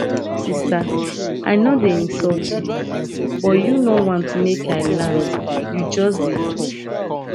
sister i no dey insult you but you no want make i land you just dey talk